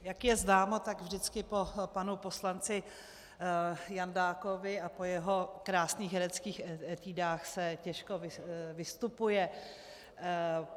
Jak je známo, tak vždycky po panu poslanci Jandákovi a po jeho krásných hereckých etudách se těžko vystupuje.